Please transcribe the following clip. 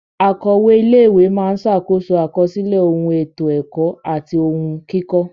Akọ̀we ilé ìwé máa ṣàkóso àkọsílẹ̀ ohun ètò ẹ̀kọ́ àti ohun kíkọ.